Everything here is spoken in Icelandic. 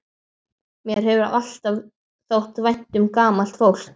Mér hefur alltaf þótt vænt um gamalt fólk.